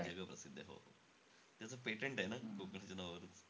जग प्रसिद्धयं. हो. त्याचं patent आहे न कोकणच्या नावावर.